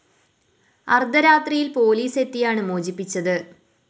അര്‍ദ്ധ രാത്രിയില്‍ പോലീസ് എത്തിയാണ് മോചിപ്പിച്ചത്